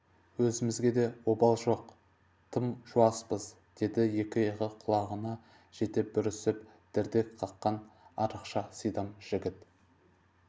өзімізге де обал жоқ тым жуаспыз деді екі иығы құлағына жете бүрісіп дірдек қаққан арықша сидам жігіт